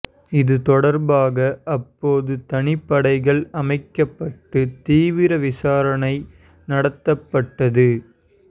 இது தொடர்பாக அப்போது தனிப்படைகள் அமைக்கப்பட்டு தீவிர விசாரணை நடத்தப்பட்டது